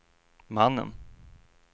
mannen